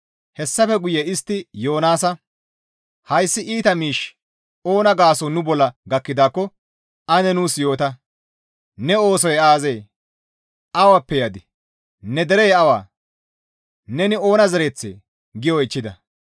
Hessafe guye istti Yoonaasa, «Hayssi iita miishshi oona gaason nu bolla gakkidaakko ane nuus yoota! Ne oosoy aazee? Awappe yadii? Ne derey awa? Neni oona zereththee?» gi oychchida.